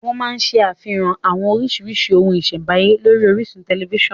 Wọ́n má ń ṣe àfihàn àwọn orísìírísìí ohun ìṣẹ̀m̀báyé lórí orísun tẹ̀lifísàn